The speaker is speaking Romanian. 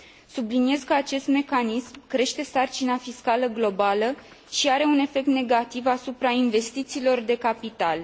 Subliniez că acest mecanism crește sarcina fiscală globală și are un efect negativ asupra investițiilor de capital.